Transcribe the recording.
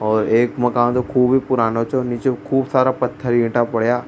और एक मकान तो खूब पुराना छे और नीचे खूब सारा पथर ईंटा पड़ा।